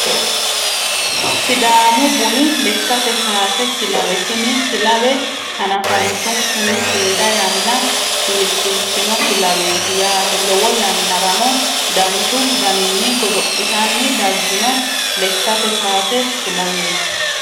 Sidaamu buni lekkate kaase kilawe tini kilawe hanafantunkunni seeda yanna kiirsiisino kilaweeti yaate lowo yanarano danchu daninni godo'litanni daggino lekkate kaase kilaweeti